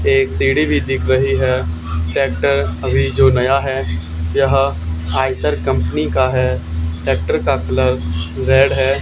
एक सीढ़ी भी दिख रही है ट्रैक्टर अभी जो नया है यह आयशर कंपनी का है ट्रैक्टर का कलर रेड है।